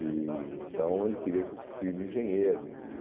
Então ele queria que o filho engenheiro.